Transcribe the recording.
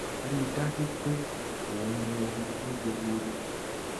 rí i dájú pé ò ń mú omi ní gbogbo ìgbà